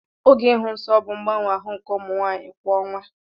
Oge ịhụ nsọ bụ mgbanwe ahụ nke ụmụ nwanyị kwa ọnwa.